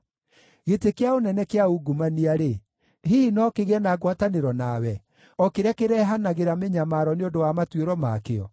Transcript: Gĩtĩ kĩa ũnene kĩa ungumania-rĩ, hihi no kĩgĩe na ngwatanĩro nawe, o kĩrĩa kĩrehanagĩra mĩnyamaro nĩ ũndũ wa matuĩro ma kĩo?